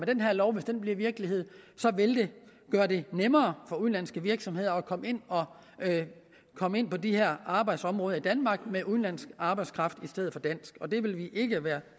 den her lov bliver virkelighed vil det gøre det nemmere for udenlandske virksomheder at komme ind på de her arbejdsområder i danmark med udenlandsk arbejdskraft i stedet for dansk og det vil vi ikke være